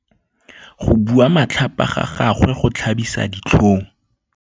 Go bua matlhapa ga gagwe go tlhabisa ditlhong.